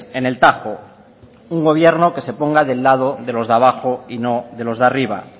en el tajo un gobierno que se ponga del lado de los de abajo y no de los de arriba